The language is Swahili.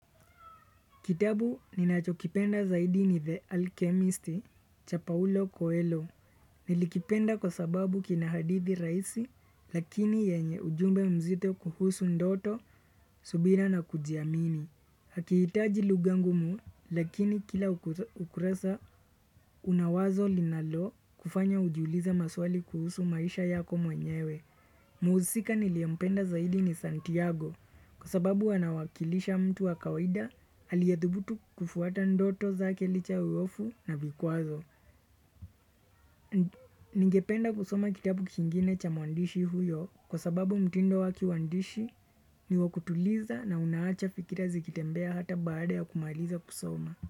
Kitabu ninachokipenda zaidi ni The Alchemist, cha Paule Coelho. Nilikipenda kwa sababu kina hadithi rahisi, lakini yenye ujumbe mzito kuhusu ndoto, subira na kujiamini. Hakihitaji lugha ngumu, lakini kila ukurasa una wazo linalokufanya ujiulize maswali kuhusu maisha yako mwenyewe. Muhusika niliempenda zaidi ni Santiago kwa sababu anawakilisha mtu wa kawida aliyadhubutu kufuata ndoto zake licha ya uofu na vikwazo. Ningependa kusoma kitabu kingine cha mwandishi huyo kwa sababu mtindo wake wa uandishi ni wakutuliza na unaacha fikira zikitembea hata baada ya kumaliza kusoma.